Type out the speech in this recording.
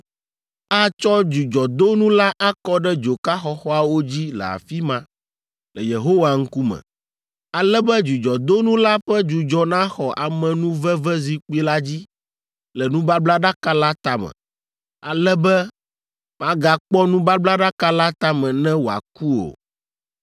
Atsɔ dzudzɔdonu la akɔ ɖe dzoka xɔxɔawo dzi le afi ma, le Yehowa ŋkume, ale be dzudzɔdonu la ƒe dzudzɔ naxɔ amenuvevezikpui la dzi le nubablaɖaka la tame, ale be magakpɔ nubablaɖaka la tame ne wòaku o.